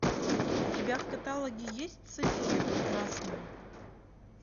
у тебя в каталоге есть софия прекрасная